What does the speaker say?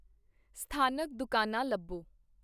ਸਥਾਨਕ ਦੁਕਾਨਾਂ ਲੱਭੋ